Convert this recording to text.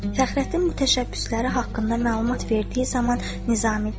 Fəxrəddin təşəbbüsləri haqqında məlumat verdiyi zaman Nizami deyirdi: